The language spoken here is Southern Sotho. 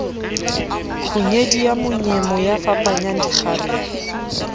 kgunyedi ya monyemo yafapanyang dikgarebe